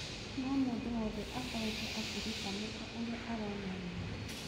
No-mũndũ wothe akoretwo akĩrĩtamũka ũrĩa arona wega.